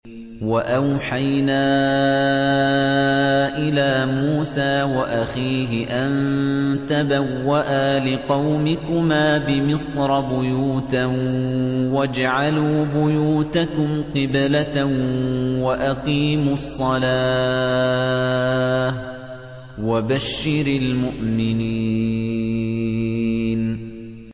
وَأَوْحَيْنَا إِلَىٰ مُوسَىٰ وَأَخِيهِ أَن تَبَوَّآ لِقَوْمِكُمَا بِمِصْرَ بُيُوتًا وَاجْعَلُوا بُيُوتَكُمْ قِبْلَةً وَأَقِيمُوا الصَّلَاةَ ۗ وَبَشِّرِ الْمُؤْمِنِينَ